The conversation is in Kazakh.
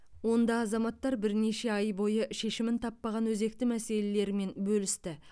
онда азаматтар бірнеше ай бойы шешімін таппаған өзекті мәселелерімен бөлісті